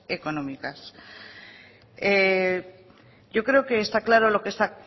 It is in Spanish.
económicas yo creo que está claro lo que está